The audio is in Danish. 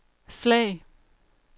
flag